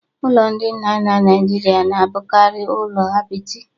Ụlọ ndị nna nna Nigeria na-abụkarị ụlọ apịtị